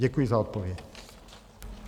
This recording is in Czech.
Děkuji za odpověď.